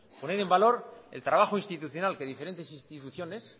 poner en valor el trabajo institucional que diferentes instituciones